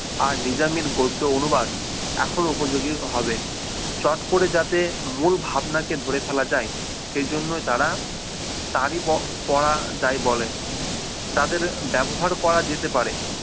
আর নিজামীর গদ্য অনুবাদ এখন উপযোগী হবে শর্ট করে যাতে মূল ভাবনা কে ধরে ফেলা যায় সেই জন্যই তারা তারই পড়া যায় বলেন তাদের ব্যবহার করা যেতে পারে